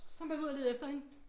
Så måtte vi ud og lede efter hende